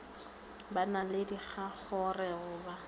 ba na le dingongorego ba